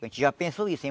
A gente já pensou isso.